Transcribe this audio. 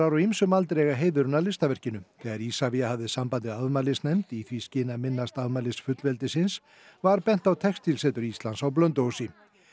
á ýmsum aldri eiga heiðurinn að listaverkinu þegar Isavia hafði samband við afmælisnefnd í því skyni að minnast aldarmælis fullveldisins var bent á Textílsetur Íslands á Blönduósi